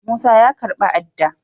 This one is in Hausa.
Musa ya karba ada.